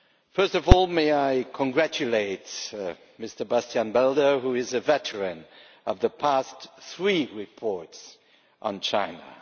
First of all, may I congratulate Mr Bas Belder who is a veteran of the past three reports on China.